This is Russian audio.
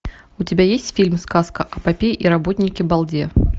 у тебя есть фильм сказка о попе и работнике балде